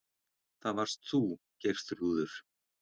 Það varst þú, Geirþrúður.